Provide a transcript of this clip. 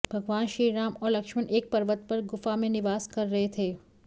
भगवान श्रीराम और लक्ष्मण एक पर्वत पर गुफा में निवास कर रहे थे